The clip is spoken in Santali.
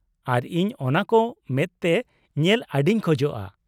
ᱟᱨ ᱤᱧ ᱚᱱᱟᱠᱚ ᱢᱮᱫᱛᱮ ᱧᱮᱞ ᱟᱹᱰᱤᱧ ᱠᱷᱚᱡᱼᱟ ᱾